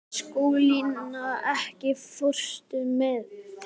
Skúlína, ekki fórstu með þeim?